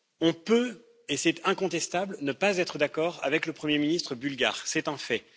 On peut, et c'est incontestable, ne pas être d'accord avec le Premier ministre bulgare, c'est un fait.